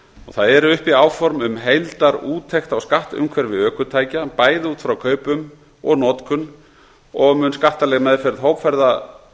það eru uppi áform um heildarúttekt á skattumhverfi ökutækja bæði út frá kaupum og notkun og verður skattaleg meðferð